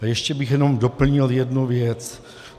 A ještě bych jenom doplnil jednu věc.